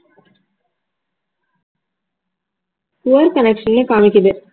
poor connection ஏ காமிக்குது